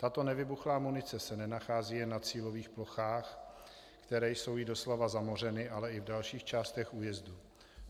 Tato nevybuchlá munice se nenachází jen na cílových plochách, které jsou jí doslova zamořeny, ale i v dalších částech újezdu.